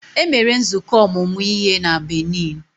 E mere nzukọ ọmụmụ ihe na Benin.